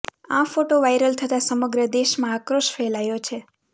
આ photo viral થતાં સમગ્ર દેશમાં આક્રોશ ફેલાયો છે